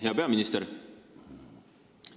Hea peaminister!